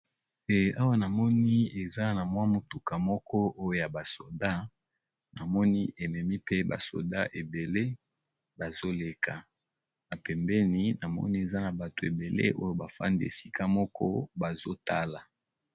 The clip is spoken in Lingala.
Awa namoni eza na mwa motuka moko oyo ya basoda. Namoni ememi pe basoda ebele bazoleka na pembeni namoni eza na bato ebele oyo bafandi esika moko bazotala.